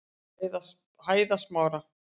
Hæðasmára